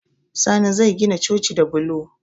Sani zai gina coci da bulo